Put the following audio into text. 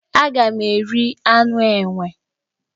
Aga m eri anụ enwe.